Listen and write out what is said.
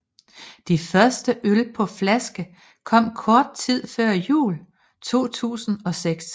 De første øl på flaske kom kort tid før jul 2006